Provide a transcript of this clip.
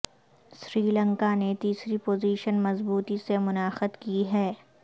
سری لنکا نے تیسری پوزیشن مضبوطی سے منعقد کی ہے